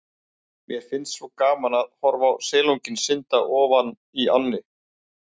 Mér fannst svo gaman að horfa á silunginn synda ofan í ánni.